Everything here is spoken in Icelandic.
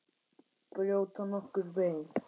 Brjóta nokkur bein?